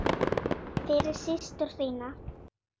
Fyrir systur þína.